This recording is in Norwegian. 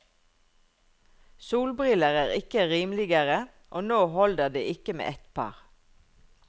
Solbriller er ikke rimeligere, og nå holder det ikke med ett par.